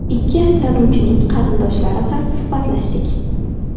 Ikki ayblanuvchining qarindoshlari bilan suhbatlashdik.